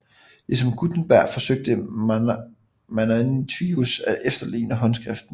Ligesom Gutenberg forsøgte Manutius at efterligne håndskriften